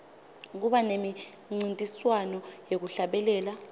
kuba nemincintiswano yekuhlabelela